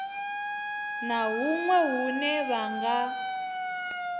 na huṅwe hune vha nga